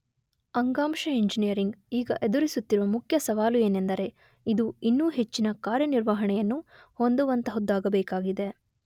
ಅಂಗಾಂಶ ಇಂಜಿನಿಯರಿಂಗ್ ಈಗ ಎದುರಿಸುತ್ತಿರುವ ಮುಖ್ಯ ಸವಾಲು ಏನೆಂದರೆ ಇದು ಇನ್ನೂ ಹೆಚ್ಚಿನ ಕಾರ್ಯನಿರ್ವಹಣೆಯನ್ನು ಹೊಂದುವಂತಹುದ್ದಾಗಬೇಕಾಗಿದೆ.